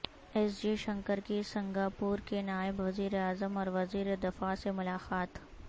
S Jaishankar کی Singapore کے نائب وزیراعظم اور وزیر دفاع سے ملاقات